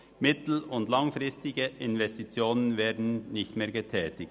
Mittel- und langfristige Investitionen werden nicht mehr getätigt.